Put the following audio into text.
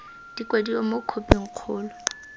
di kwadiwa mo khophing kgolo